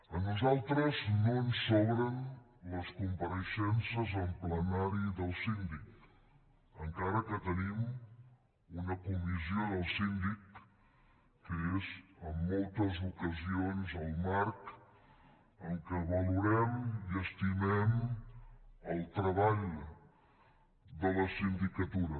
a nosaltres no ens sobren les compareixences en plenari del síndic encara que tenim una comissió del síndic que és en moltes ocasions el marc en què valorem i estimem el treball de la sindicatura